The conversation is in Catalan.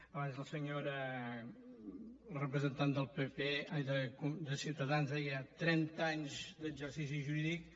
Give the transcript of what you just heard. abans la senyora representant de ciutadans deia trenta anys d’exercici jurídic